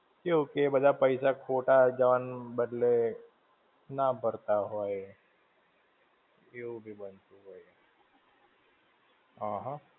કેવું કે એ બધા પૈસા, ખોટા જણ બદલે, ના ભરતાં હોય, એવું બી બનતું હોય. હમ્મ હમ્મ.